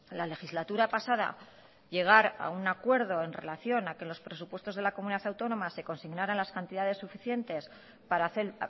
la legislatura pasada llegar a un acuerdo en relación a que los presupuestos de la comunidad autónoma se consignaran las cantidades suficientes para hacer